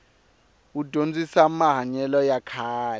wu dyondzisamahanyelo ya kahle